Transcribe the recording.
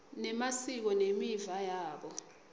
nemasiko nemiva yabo